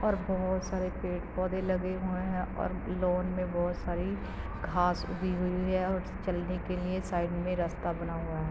और बहोत सारे पेड़-पौधे लगे हुए हैं और लॉन में बहुत सारी घास उगी हुई है और चलने के लिए साइड में रस्ता बना हुआ है।